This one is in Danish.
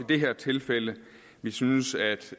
det her tilfælde vi synes at